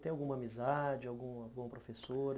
Tem alguma amizade, alguma alguma professora?